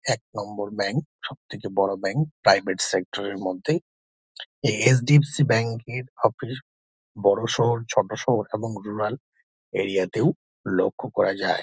এক নম্বর ব্যাঙ্ক সব থেকে বড়ো ব্যাঙ্ক । প্রাইভেট সেক্টর -এর মধ্যেই H . D .F .C bank -এর অফিস বড়ো শহর ছোট শহর এবং রুরাল এরিয়া -তেও লক্ষ্য করা যায়।